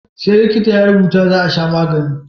Sai likita ya rubutu za a sha magani